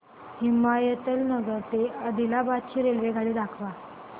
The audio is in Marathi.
हिमायतनगर ते आदिलाबाद ची रेल्वेगाडी दाखवा